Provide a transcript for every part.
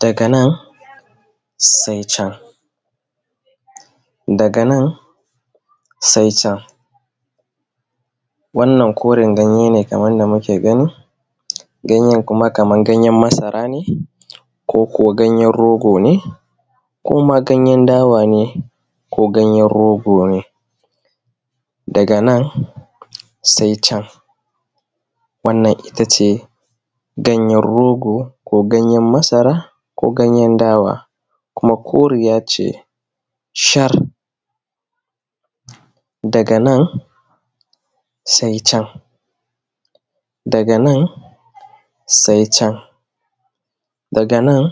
Daga nan sai can, daga nan sai can. Wannan koren ganye ne, kaman da muke gani. Ganyen kuma kaman ganyen masara ne, koko ganyen rogo ne, ko ma ganyen dawa ne, ko ganyen rogone. Daga nan sai can wannan ita ce ganyen rogo, ko ganyen masara, ko ganyen dawa. Kuma koriya ce shar. Daga nan sai can, daga nan sai can, daga nan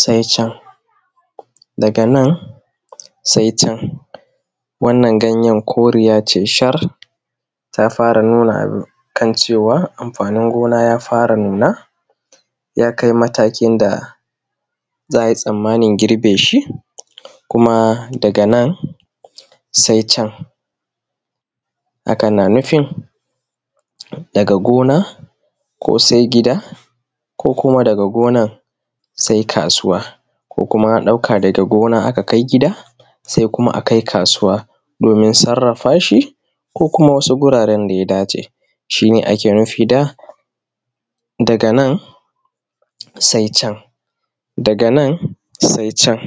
sai can, daga nan sai can wannan ganyen koriya ce shar ta fura, nuna cewa anfanin gona ya fara nunawa, ya kai matakin da za akai tamamin girbe shi. Kuma daga nan sai can, hakan na nufin daga gona se gida, ko kuma daga gonan sai kasuwa, ko kuma a ɗauka daga gona a ka kai gida, se kuma akai kasuwa domin sarrafashi, ko kuma wasu wuraren da ya dace. Shine ake nufi da daga nan sai can, daga nan sai can.